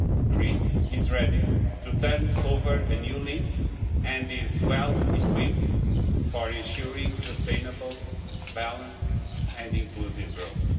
Greece is ready to turn over a new leaf and is well equipped for ensuring sustainable, balanced and inclusive growth.